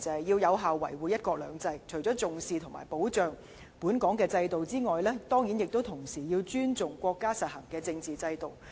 要有效維護"一國兩制"，除了重視及保障本港制度外，同時要尊重國家實行的政治制度。